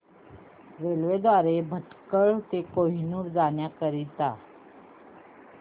railway द्वारे भटकळ ते कन्नूर जाण्या करीता